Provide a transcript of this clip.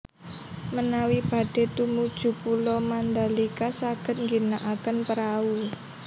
Menawi badhe tumuju Pulo Mandalika saged ngginakaken prahu